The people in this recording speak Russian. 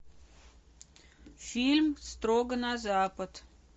фильм строго на запад